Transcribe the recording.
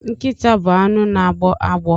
Nkịta bụ anụ na agbọ agbọ